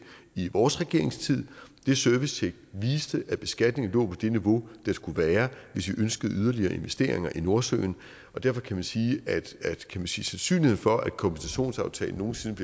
i vores regeringstid det servicetjek viste at beskatningen lå på det niveau det skulle være hvis vi ønskede yderligere investeringer i nordsøen derfor kan vi sige at sandsynligheden for at kompensationsaftalen nogen sinde